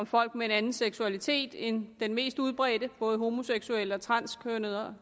folk med en anden seksualitet end den mest udbredte det både homoseksuelle